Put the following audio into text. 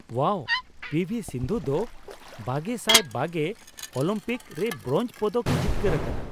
ᱳᱣᱟᱣ, P V Sindhu ᱫᱚ ᱒᱐᱒᱐ Olympic ᱨᱮ bronze ᱯᱚᱫᱚᱠᱼᱮ ᱡᱤᱛᱠᱟᱹᱨ ᱟᱠᱟᱱᱟ ᱾